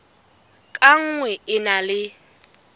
ka nngwe e na le